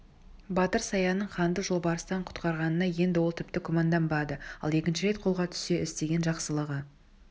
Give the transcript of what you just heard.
батыр саянның ханды жолбарыстан құтқарғанына енді ол тіпті күмәнданбады ал екінші рет қолға түссе істеген жақсылығы